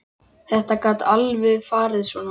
Þetta gat alveg farið svona.